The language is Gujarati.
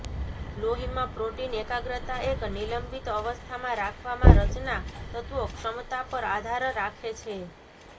લોહીમાં પ્રોટીન એકાગ્રતા એક નિલંબિત અવસ્થામાં રાખવામાં રચના તત્વો ક્ષમતા પર આધાર રાખે છે